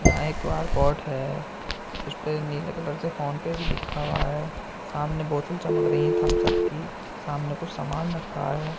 यहाँ एक बारकोड है। उसपे नीले कलर से फोनपे भी लिखा हुआ है। सामने बोतल चमक रही है थम्प्स अप की। सामने कुछ सामान रखा है।